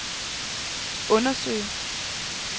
undersøge